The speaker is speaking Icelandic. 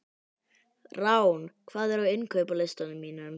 Rán, hvað er á innkaupalistanum mínum?